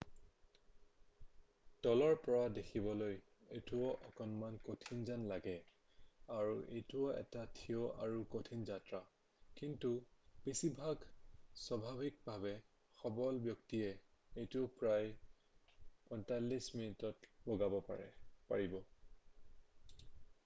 তলৰ পৰা দেখিবলৈ এইটো অকণমান কঠিন যেন লাগে আৰু এইটো এটা থিয় আৰু কঠিন যাত্ৰা কিন্তু বেছিভাগ স্বাভাৱিকভাৱে সবল ব্যক্তিয়ে এইটো প্ৰায় 45 মিনিটত বগাব পাৰিব